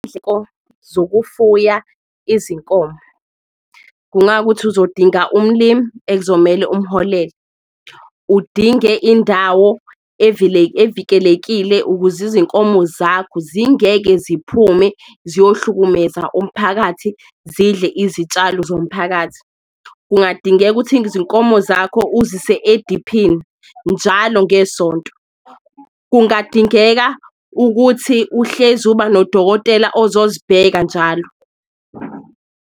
Zokufuya izinkomo kungawukuthi uzodinga umlimi ekuzomele umholele, udinge indawo evikelekile ukuze izinkomo zakho zingeke ziphume ziyohlukumeza umphakathi, zidle izitshalo zomphakathi. Kungadingeka ukuthi izinkomo zakho uzise ediphini njalo ngesonto, kungadingeka ukuthi uhlezi uba nodokotela ozozibheka njalo.